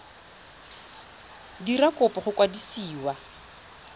dira kopo go mokwadisi wa